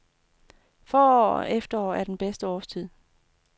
Forår og efterår er bedste årstid.